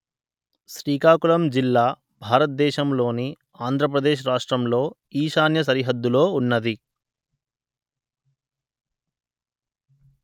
శ్రీకాకుళం జిల్లా భారత దేశము లోని ఆంధ్ర ప్రదేశ్ రాష్ట్రం లో ఈశాన్య సరిహద్దు లో ఉన్నది